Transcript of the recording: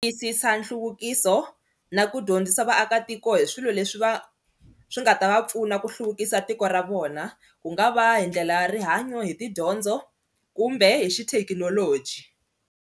Tiyisisa nhluvukiso na ku dyondzisa vaakatiko hi swilo leswi va swi nga ta va pfuna ku hluvukisa tiko ra vona ku nga va hi ndlela ya rihanyo hi tidyondzo kumbe hi xithekinoloji.